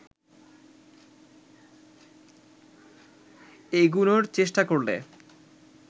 এগুনোর চেষ্টা করলে